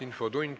Infotund.